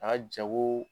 A ka jago